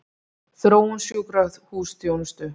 Þróun sjúkrahúsþjónustu?